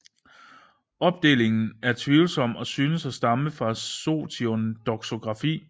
Opdelingen er tvivlsom og synes at stamme fra Sotion doxografi